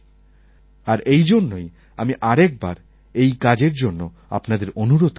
আর এইজন্যই আমি আরেকবার এই কাজের জন্য আপনাদের অনুরোধ করছি